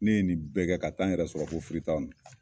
Ne ye nin bɛ kɛ ka taa n yɛrɛ sɔrɔ fo